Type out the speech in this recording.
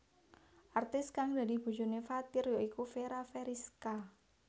Artis kang dadi bojoné Fathir ya iku Fera Feriska